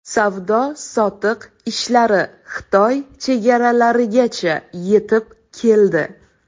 Savdo-sotiq ishlari Xitoy chegaralarigacha yetib keldi.